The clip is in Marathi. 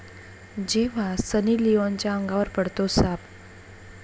जेव्हा सनी लिओनच्या अंगावर पडतो साप!